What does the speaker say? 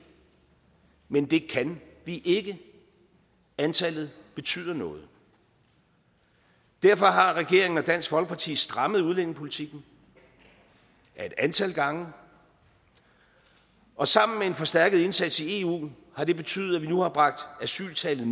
men det kan vi ikke antallet betyder noget derfor har regeringen og dansk folkeparti strammet udlændingepolitikken et antal gange og sammen med en forstærket indsats i eu har det betydet at vi nu har bragt asyltallet